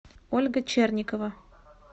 ольга черникова